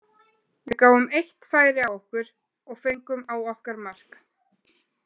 Við gáfum eitt færi á okkur og fengum á okkar mark.